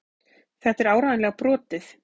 Þetta er áreiðanlega brotið.